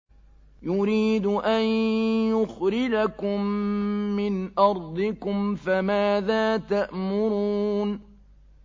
يُرِيدُ أَن يُخْرِجَكُم مِّنْ أَرْضِكُمْ ۖ فَمَاذَا تَأْمُرُونَ